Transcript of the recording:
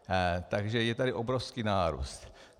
Takže je tady obrovský nárůst.